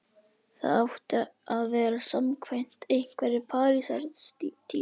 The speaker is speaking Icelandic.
Það átti að vera samkvæmt einhverri Parísartísku.